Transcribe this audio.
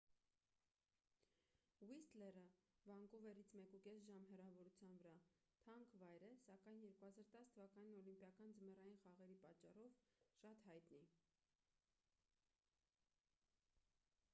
ուիսթլերը վանկուվերից 1,5 ժամ հեռավորության վրա թանկ վայր է սակայն 2010 թ. օլիմպիական ձմեռային խաղերի պատճառով՝ շատ հայտնի: